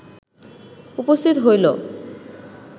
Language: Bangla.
উপস্থিত হইল